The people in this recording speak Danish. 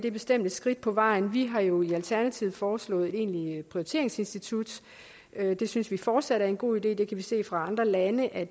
er bestemt et skridt på vejen vi har jo i alternativet foreslået et egentlig prioriteringsinstitut det synes vi fortsat er en god idé vi kan se fra andre lande at